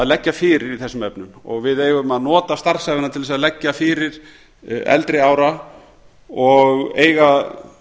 leggja fyrir í þessum efnum og við eigum að nota starfsævina til þess að leggja fyrir til eldri ára og eiga